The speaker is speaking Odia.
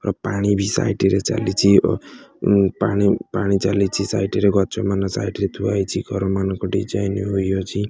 ଓ ପାଣି ବି ସାଇଟ୍ ରେ ଚାଲିଚି ଓ ଉଁ ପାଣି ପାଣି ଚାଲିଚି ସାଇଟ୍ ରେ ଗଛ ମାନ ସାଇଟ୍ ରେ ଥୁଆ ହେଇଚି। ଘରମାନଙ୍କ ଡିଜାଇନ୍ ହୋଇଅଛି।